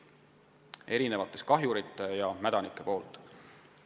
Kahju teevad erisugused kahjurid ja mädanikud.